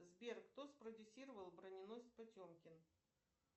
сбер кто спродюсировал броненосец потемкин